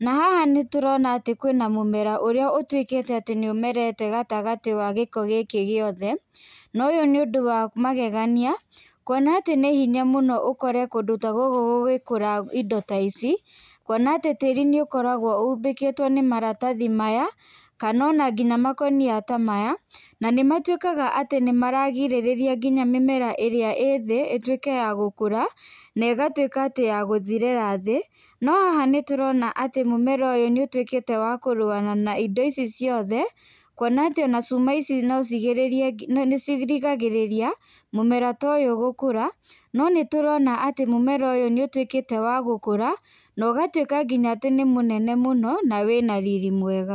na haha nĩ tũrona atĩ kwĩna mũmera ũrĩa ũtũĩkĩtĩ atĩ nĩ ũmerete gatagatĩ wa gĩko gĩkĩ gĩothe na ũyũ nĩ ũndũ wa magegania kũona atĩ nĩ hĩnya mũno ũkore kũndũ ta gũkũ gũgĩkũra indo ta ici kũona atĩ tĩri nĩ ũkoragwo ũmbĩkĩtwo nĩ maratathi maya kana ona ngĩna makũnia ta maya nanĩmatwĩkaga atĩ nĩmaragĩrĩrria atĩ mĩmera ĩrĩa ĩ thi ĩtwĩke ya gũkũra na ĩgatwĩka atĩ ya gũthĩrĩra thi no haha nĩ tũrona atĩ mũmera ũyũ nĩ ũtwĩkĩte wa kũrũa na indĩ ici ciothe kũona atĩ ona cũma ici no cirĩigĩrĩrie nĩ cirigagĩrĩria mũmera ta ũyũ gũkũra, no nĩ tũrona atĩ mũmera ũyũ nĩ ũtwĩkĩte wagũkũra na ũgatwĩka nginya wĩ mũnene mũno na wĩna riri.